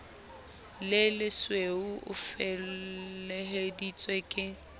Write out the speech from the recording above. le lesweu o feleheditswe ke